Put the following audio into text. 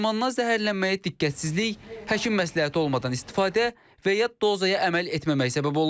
Dərmandan zəhərlənməyə diqqətsizlik, həkim məsləhəti olmadan istifadə və ya dozaya əməl etməmək səbəb olub.